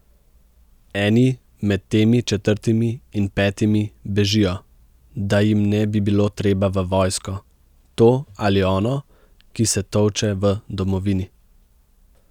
Eni med temi četrtimi in petimi bežijo, da jim ne bi bilo treba v vojsko, to ali ono, ki se tolče v domovini.